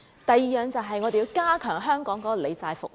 第二，便是要加強香港的理債服務。